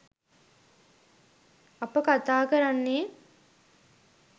අප කතා කරන්නේ